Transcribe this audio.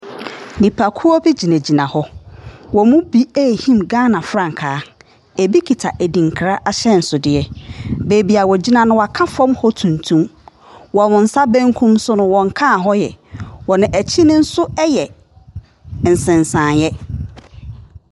Nnipakuo bi gyingyina hɔ. Wɔmo ɛɛhim Gaana frankaa. Ɛbi kita adinkra ahyɛnsodeɛ. Baabi a wɔgina no w'aka fam hɔ nom tumtum. Wɔn nsa benkum so no, wɔnkaa hɔ yɛ Wɔn akyi no nso ɛyɛ nsensanyɛ.